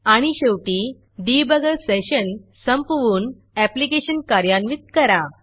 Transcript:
आणि शेवटी debuggerडिबगर सेशन संपवून ऍप्लिकेशन कार्यान्वित करा